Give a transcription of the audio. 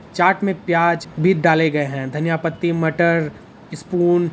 चाट मे प्याज भी डाले गए है धनिया पत्ती मटर स्पून --